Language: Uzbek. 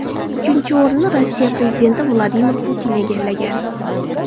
Uchinchi o‘rinni Rossiya prezidenti Vladimir Putin egallagan.